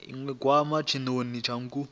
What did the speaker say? iwe nkukuwe tshinoni tsha nkuku